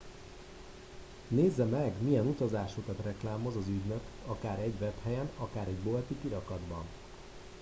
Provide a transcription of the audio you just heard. nézze meg milyen utazásokat reklámoz az ügynök akár egy webhelyen akár egy bolti kirakatban